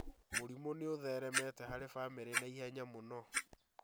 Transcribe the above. Mũrimũ nĩũtheremete harĩ bamĩrĩ naihenya mũno